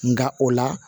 Nka o la